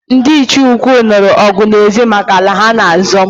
Ndị Ichie ukwu nụrụ ọgụ na ezi maka ala ha-na azọ